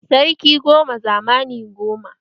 Sarki goma zamani goma.